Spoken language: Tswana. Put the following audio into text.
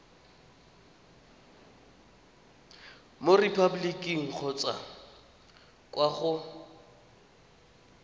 mo repaboliking kgotsa kwa go